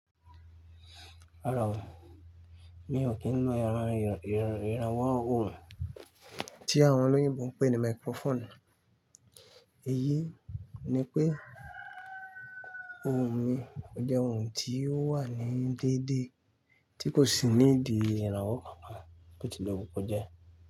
Rárá o, mi ò kí ń lo ẹ́rò ìrànwọ́ ohùn tí àwọn olóyìnbo ń pè ní microphone. Èyí ni pé ohùn mi jẹ́ ohun tí ó wà ní déédéé tí kò sì níìdí ìrànwọ́ kankan, bó ti lè wù kó jẹ́.